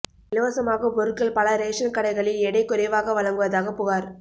இலவசமாக பொருட்கள் பல ரேஷன் கடைகளில் எடை குறைவாக வழங்குவதாக புகார்